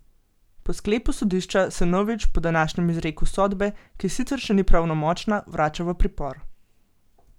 Po sklepu sodišča se Novič po današnjem izreku sodbe, ki sicer še ni pravnomočna, vrača v pripor.